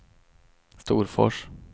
Storfors